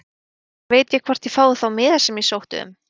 Hvenær veit ég hvort ég fái þá miða sem ég sótti um?